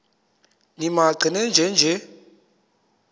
nimaqe nenje nje